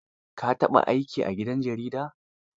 Ka taɓa aiki a gidan jarida?